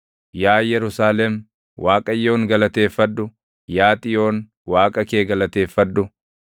Yaa Yerusaalem, Waaqayyoon galateeffadhu; Yaa Xiyoon Waaqa kee galateeffadhu.